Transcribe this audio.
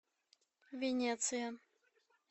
венеция